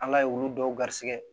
Ala ye olu dɔw garisigɛ